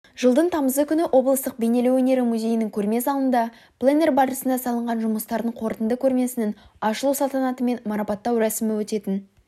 жылдың тамызы күні облыстық бейнелеу өнері музейінің көрме залында пленэр барысында салынған жұмыстардың қорытынды көрмесінің ашылу салтанаты мен марапаттау рәсімі өтетін